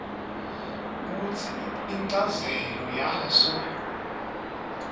kutsi inchazelo yaso